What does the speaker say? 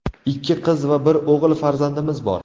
Ikki qiz va bir o‘g‘il farzandimiz bor.